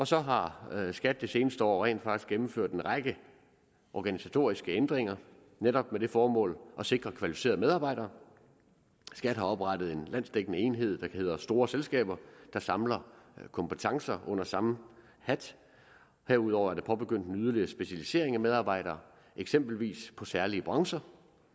så har skat det seneste år rent faktisk gennemført en række organisatoriske ændringer netop med det formål at sikre kvalificerede medarbejdere skat har oprettet en landsdækkende enhed der hedder store selskaber der samler kompetencer under samme hat herudover er der påbegyndt en yderligere specialisering af medarbejdere eksempelvis på særlige brancher